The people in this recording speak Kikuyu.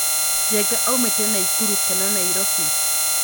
Njenga aumĩte Naikuru kana Nairobi?